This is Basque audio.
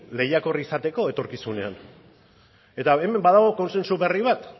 lehiakor izateko etorkizunean eta hemen badago kontsentsu berri bat